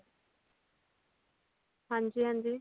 ਹਾਂਜੀ ਹਾਂਜੀ